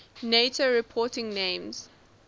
nato reporting names